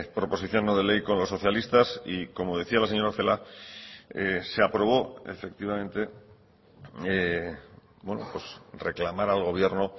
proposición no de ley con los socialistas y como decía la señora celaá se aprobó efectivamente reclamar al gobierno